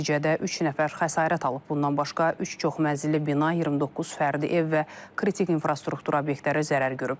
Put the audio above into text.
Nəticədə üç nəfər xəsarət alıb, bundan başqa üç çoxmərtəbəli bina, 29 fərdi ev və kritik infrastruktur obyektləri zərər görüb.